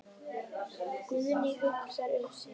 Guðný hugsar sig um.